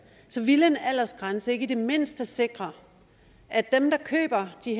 så ville en aldersgrænse ikke i det mindste sikre at dem der køber de